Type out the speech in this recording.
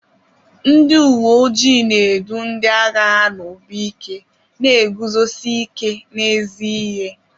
Ndị uwe ojii na-edu ndị agha ha n'obi ike na iguzosi ike n'ezi ihe.